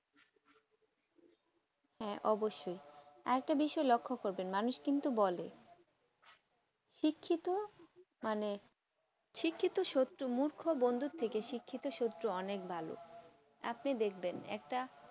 হ্যাঁ অবশ্যই আরেকটা বিষয়ই লক্ষ করবে মানুষ কিন্তু বলে শিক্ষিত মানে শিক্ষিত শত্রু মূর্খ বন্ধু থেকে শিক্ষিত শত্রু অনেক ভালো এমনি দেখবেন একটা